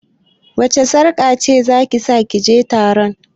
Wacce sarƙa zaki sa kije taron?